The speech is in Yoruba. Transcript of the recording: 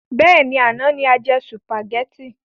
Bẹ́ẹ̀ni, àná ni a jẹ sùpàgétì.